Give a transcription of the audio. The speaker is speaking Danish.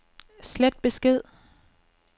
slet besked